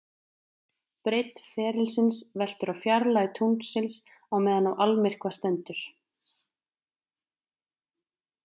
Breidd ferilsins veltur á fjarlægð tunglsins á meðan á almyrkva stendur.